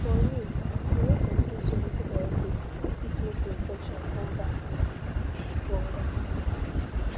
for real if you no complete your antibiotics e fit make the infection come back pause stronger